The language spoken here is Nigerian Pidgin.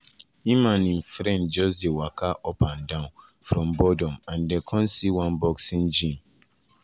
im and im friend just dey waka up and down from boredom and dem come see one boxing gym.